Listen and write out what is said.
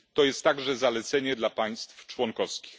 To jest także zalecenie dla państw członkowskich.